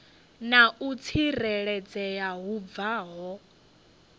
na u tsireledzea hu bvaho